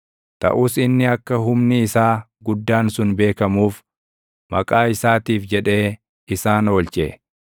Taʼus inni akka humni isaa guddaan sun beekamuuf, maqaa isaatiif jedhee isaan oolche.